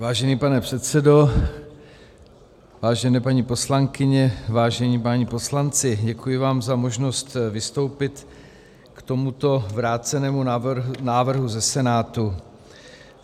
Vážený pane předsedo, vážené paní poslankyně, vážení páni poslanci, děkuji vám za možnost vystoupit k tomuto vrácenému návrhu ze Senátu.